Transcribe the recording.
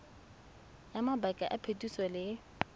ya mabaka a phetiso le